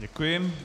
Děkuji.